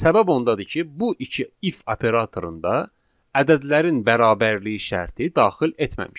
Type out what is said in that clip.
Səbəb ondadır ki, bu iki if operatorunda ədədlərin bərabərliyi şərti daxil etməmişik.